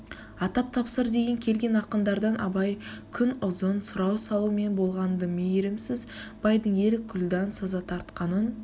атап тапсыр деген келген ақындардан абай күнұзын сұрау салумен болған-ды ме-йірімсіз байдың ер күлдан саза тартқанын